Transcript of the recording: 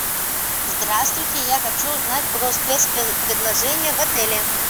здравствуйте я хочу узнать про спецпредложения в отеле